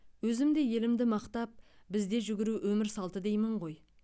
өзім де елімді мақтап бізде жүгіру өмір салты деймін ғой